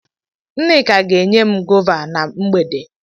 Nneka ga enyem gọva na mgbede.